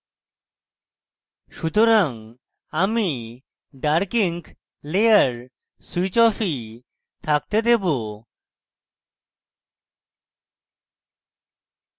সুতরাং আমি dark ink layer switch অফই থাকতে দেবো